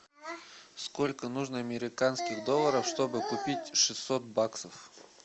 сколько нужно американских долларов чтобы купить шестьсот баксов